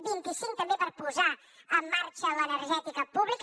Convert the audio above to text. vint i cinc també per posar en marxa l’energètica pública